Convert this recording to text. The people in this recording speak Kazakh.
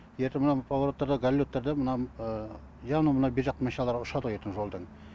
ертең мына бір повороттарда гололедтарда мына явно мына бержақтан машиналар ұшады ғой ертең жолдан